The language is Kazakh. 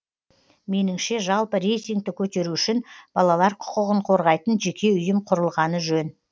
меніңше жалпы рейтингті көтеру үшін балалар құқығын қорғайтын жеке ұйым құрылғаны жөн